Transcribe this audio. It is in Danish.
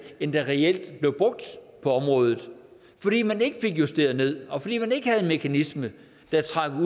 end der reelt blev brugt på området fordi man ikke fik justeret ned og fordi man ikke havde en mekanisme der trak